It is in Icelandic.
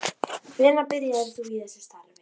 Hvenær byrjaðir þú í þessu starfi?